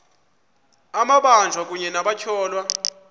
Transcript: amabanjwa kunye nabatyholwa